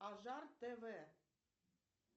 ажар тв